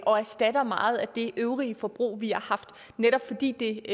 og erstatter meget af det øvrige forbrug vi har haft netop fordi det